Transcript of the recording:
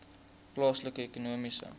plaaslike ekonomiese